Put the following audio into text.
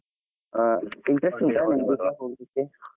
ಆ interest ಉಂಟಾ ನಿಮಗೆ ಸಹ ಹೋಗ್ಲಿಕ್ಕೆ?